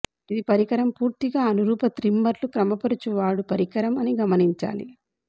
ఇది పరికరం పూర్తిగా అనురూప త్రిమ్మర్లు క్రమపరచువాడు పరికరం అని గమనించాలి